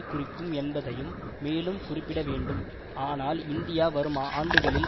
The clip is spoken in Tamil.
குறிக்கும் என்பதையும் மேலும் குறிப்பிட வேண்டும் ஆனால் இந்தியா வரும் ஆண்டுகளில்